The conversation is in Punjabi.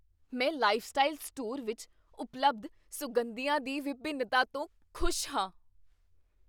ਮੈਂ ਲਾਈਫਸਟਾਈਲ ਸਟੋਰ ਵਿੱਚ ਉਪਲਬਧ ਸੁਗੰਧੀਆਂ ਦੀ ਵਿਭਿੰਨਤਾ ਤੋਂ ਖ਼ੁਸ਼ ਹਾਂ।